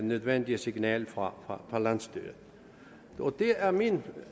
nødvendige signal fra landsstyret det er min